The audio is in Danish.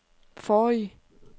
forrige